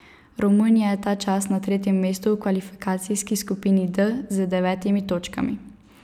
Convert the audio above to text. Romunija je ta čas na tretjem mestu v kvalifikacijski skupini D z devetimi točkami.